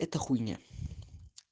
это хуйня